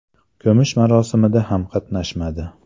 Ko‘mish marosimida ham qatnashmadi.